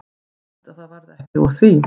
Fínt að það varð ekki úr því.